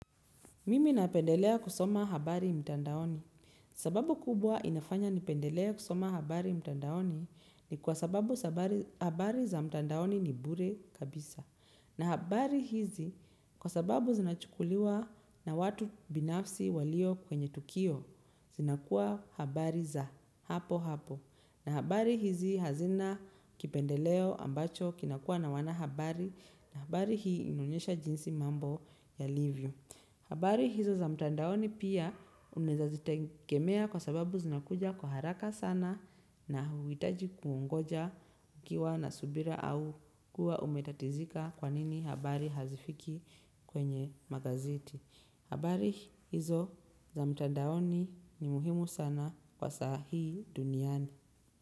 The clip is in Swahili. Mimi napendelea kusoma habari mtandaoni. Sababu kubwa inafanya nipendelee kusoma habari mtandaoni ni kwa sababu habari za mtandaoni ni bure kabisa. Na habari hizi kwa sababu zinachukuliwa na watu binafsi walio kwenye tukio zinakuwa habari za hapo hapo. Na habari hizi hazina kipendeleo ambacho kinakuwa na wanahabari na habari hii inaonyesha jinsi mambo yalivyo. Habari hizo za mtandaoni pia unaezazitegemea kwa sababu zinakuja kwa haraka sana na huhitaji kuungoja ukiwa na subira au kuwa umetatizika kwanini habari hazifiki kwenye magazeti. Habari hizo za mtandaoni ni muhimu sana kwa sahi duniani.